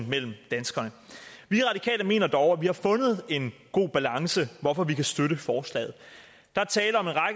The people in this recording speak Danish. mellem danskerne vi radikale mener dog at vi har fundet en god balance hvorfor vi kan støtte forslaget der